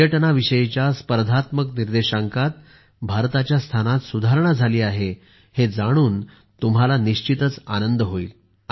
पर्यटनाविषयीच्या स्पर्धात्मक निर्देशांकात भारताच्या स्थानात सुधारणा झाली आहे हे जाणून तुम्हाला निश्चितच आनंद होईल